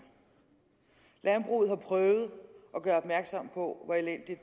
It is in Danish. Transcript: landbruget har prøvet at gøre opmærksom på hvor elendig